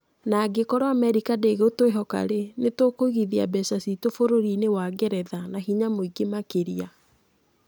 Na angĩkorũo Amerika ndĩgũtwĩhoka-rĩ, nĩ tũkũigithia mbeca ciitũ bũrũri-inĩ wa Ngeretha na hinya mũingi makĩria.